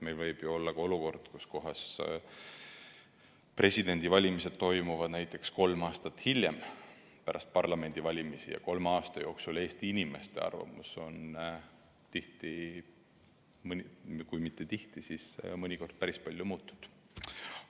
Meil võib ju olla ka olukord, kus presidendivalimised toimuvad näiteks kolm aastat hiljem pärast parlamendivalimisi, ja kolme aasta jooksul on Eesti inimeste arvamus tihti – või kui mitte tihti, siis mõnikord – päris palju muutunud.